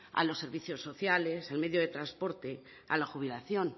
a los servicios sociales al medio de transporte a la jubilación